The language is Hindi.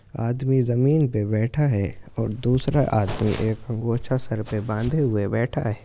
आदमी जमीन पे बैठा है और दूसरा आदमी एक अंगोछा सर पे बांधे हुए बैठा है।